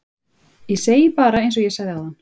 Ég segi bara einsog ég sagði áðan